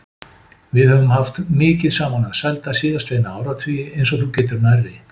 Við höfum haft mikið saman að sælda síðastliðna áratugi, eins og þú getur nærri.